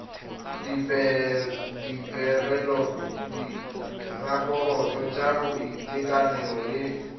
dipegelo diraporoto tsa boitekanelo le